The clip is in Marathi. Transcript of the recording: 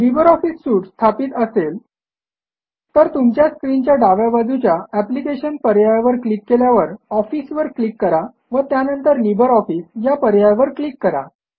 लिब्रे ऑफिस सूट स्थापित असेल तर तुमच्या स्क्रीन च्या डाव्या बाजूच्या एप्लिकेशन पर्यायावर क्लिक केल्यावर ऑफिस वर क्लिक करा व त्यानंतर लिब्रे ऑफिस ह्या पर्यायावर क्लिक करा